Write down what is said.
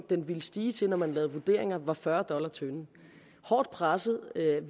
den ville stige til når man lavede vurderinger var fyrre dollars tønden hårdt presset